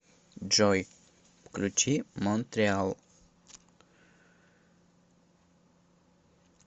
джой включи монтреал